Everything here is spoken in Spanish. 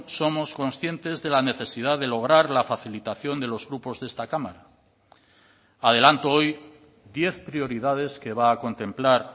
somos conscientes de la necesidad de lograr la facilitación de los grupos de esta cámara adelanto hoy diez prioridades que va a contemplar